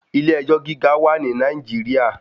Ilé ẹjọ́ gíga wà ní Nàìjíríà.